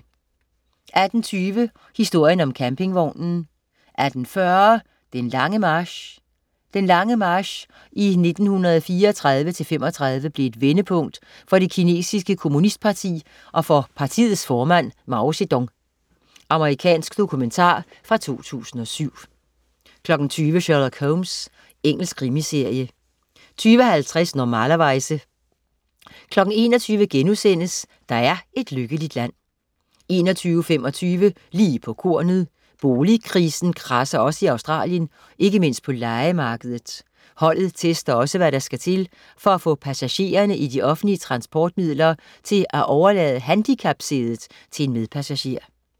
18.20 Historien om campingvognen 18.40 Den lange march. Den lange march i 1934-35 blev et vendepunkt for det kinesiske kommunistparti og for partiets formand, Mao Zedong. Amerikansk dokumentar fra 2007 20.00 Sherlock Holmes. Engelsk krimiserie 20.50 Normalerweize 21.00 Der er et lykkeligt land* 21.25 Lige på kornet. Boligkrisen kradser også i Australien, ikke mindst på lejemarkedet. Holdet tester også, hvad der skal til for at få passagererne i de offentlige transportmidler til at overlade handicapsædet til en medpassager